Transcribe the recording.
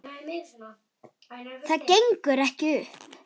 Það gengur ekki upp.